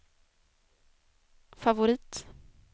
favorit